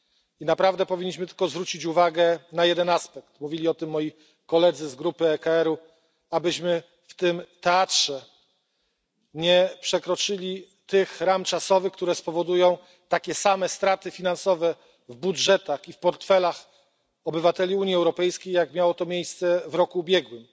I naprawdę powinniśmy tylko zwrócić uwagę na jeden aspekt mówili o tym moi koledzy z grupy ECR abyśmy w tym teatrze nie przekroczyli ram czasowych, które spowodują takie same straty finansowe w budżetach i w portfelach obywateli Unii Europejskiej, jak miało to miejsce w roku ubiegłym.